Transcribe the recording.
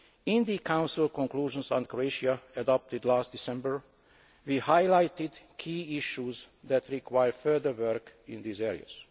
In the Council conclusions on Croatia adopted last December, we highlighted key issues that require further work in these areas.